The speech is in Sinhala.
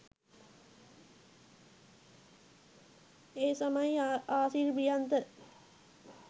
ඒ තමයි ආසිරි ප්‍රියන්ත